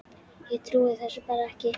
Ég trúði þessu bara ekki.